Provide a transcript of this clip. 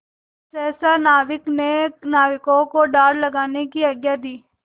सहसा नायक ने नाविकों को डाँड लगाने की आज्ञा दी